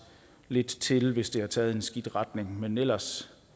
lidt til hvis det har taget en skidt retning men ellers